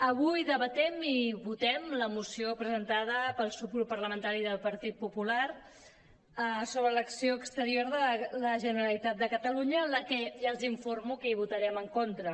avui debatem i votem la moció presentada pel subgrup parlamentari del partit popular sobre l’acció exterior de la generalitat de catalunya a la que ja els informo que hi votarem en contra